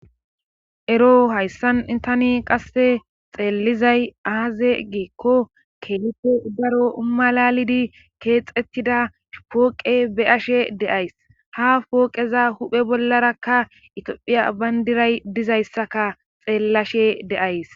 Ero hayssan itani qasse xeellizay aaze giikko keelife daro umalalidi keexettida hpooqe beyashe deays ha pooqeza huphe bollarakka itoophiya bayndiray dizayssaka xeellashe deays.